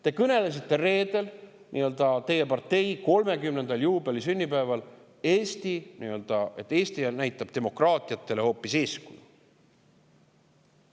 Te kõnelesite reedel teie partei 30. juubelisünnipäeval, et Eesti näitab demokraatiatele hoopis eeskuju.